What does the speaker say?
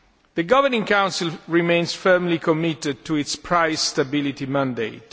The Governing Council remains firmly committed to its price stability mandate.